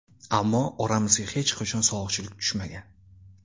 Ammo oramizga hech qachon sovuqchilik tushmagan.